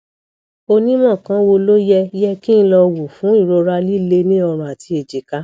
onímọ kan wo ló yẹ yẹ kí n lọ wò fún ìrora líle ní ọrùn àti èjìká